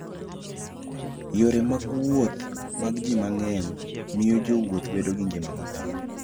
Yore mag wuoth mag ji mang'eny miyo jowuoth bedo gi ngima maber.